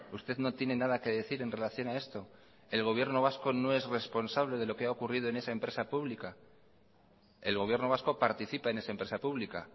usted no tiene nada que decir en relación a esto el gobierno vasco no es responsable de lo que ha ocurrido en esa empresa pública el gobierno vasco participa en esa empresa pública